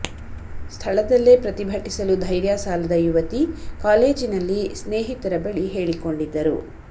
ಸ್ಥಳದಲ್ಲೇ ಪ್ರತಿಭಟಿಸಲು ಧೈರ್ಯ ಸಾಲದ ಯುವತಿ ಕಾಲೇಜಿನಲ್ಲಿ ಸ್ನೇಹಿತರ ಬಳಿ ಹೇಳಿಕೊಂಡಿದ್ದರು